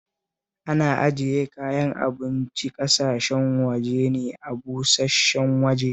Ana ajiye kayan abincin ƙasashen waje ne a busash-shen waje